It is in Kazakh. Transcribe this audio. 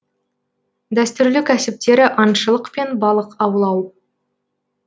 дәстүрлі кәсіптері аңшылық пен балық аулау